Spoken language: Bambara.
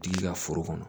Tigi ka foro kɔnɔ